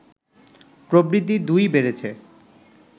প্রবৃদ্ধি দুই-ই বেড়েছে